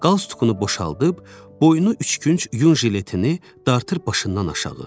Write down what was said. Qalsutkunu boşaldıb, boynu üçkünc yun jiletini dartır başından aşağı.